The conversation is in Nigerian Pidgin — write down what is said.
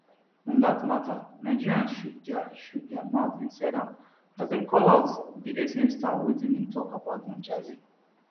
on dat mata nigerians chook dia chook dia mouth inside as dem call out di essence star on wetin im tok about don jazzy